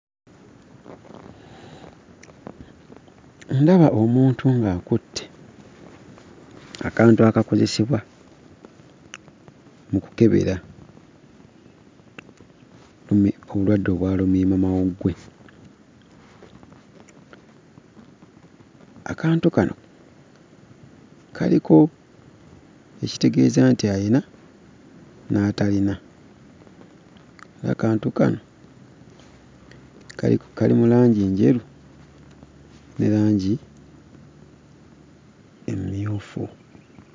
Ndaba omuntu ng'akutte akantu akakozesebwa mu kukebera obulwadde obwa lumiimamawuggwe. Akantu kano kaliko ekitegeeza nti ayina n'atalina era akantu kano kali mu langi enjeru ne langi emmyufu.